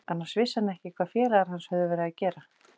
Annars vissi hann ekki hvað félagar hans höfðu verið að gera.